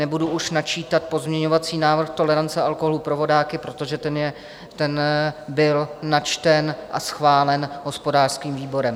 Nebudu už načítat pozměňovací návrh tolerance alkoholu pro vodáky, protože ten byl načten a schválen hospodářským výborem.